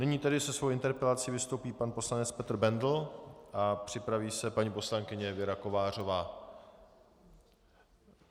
Nyní tedy se svou interpelací vystoupí pan poslanec Petr Bendl a připraví se paní poslankyně Věra Kovářová.